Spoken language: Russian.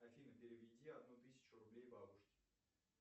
афина переведи одну тысячу рублей бабушке